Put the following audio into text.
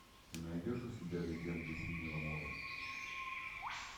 ты найдешь у себя легенды синего моря